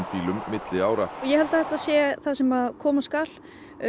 bílum milli ára ég held að þetta sé það sem koma skal